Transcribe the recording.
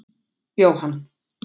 Jóhann